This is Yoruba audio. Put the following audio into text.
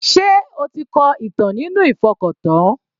Sé o ti kọ ìtàn nínú ìfọkàntán?